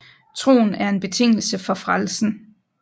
Troen er en betingelse for frelsen